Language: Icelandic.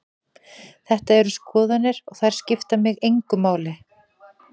Þetta eru skoðanir og þær skipta mig engu máli.